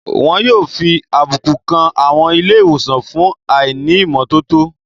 Wọn yóò fi àbùkù kan àwọn ilé ìwòsàn fún àìní ìmọ́tótó